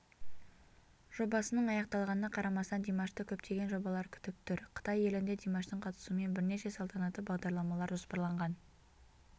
жобасының аяқталғанына қарамастан димашты көптеген жобалар күтіп тұр қытай елінде димаштың қатысуымен бірнеше салтанаты бағдарламалар жоспарланған